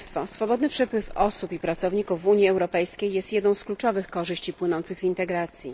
Swobodny przepływ osób i pracowników w Unii Europejskiej jest jedną z kluczowych korzyści płynących z integracji.